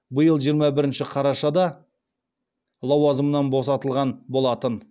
биыл жиырма бірінші қарашада лауазымынан босатылған болатын